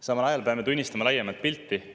Samal ajal peame tunnistama laiemat pilti.